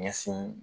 Ɲɛsin